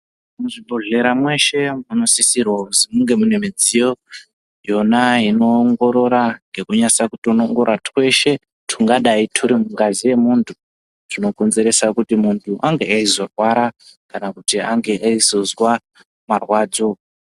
Muzvibhedhlera mweshe munosisirwa kuzi munge mune midziyo yona inoongorora ngekunyasa kutonongora zveshe zvingadai zviri mungazi yemuntu zvinokonzeresa kuti ange eizorwra kana kuti ange eizonzwa marwadzo.